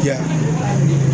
Ya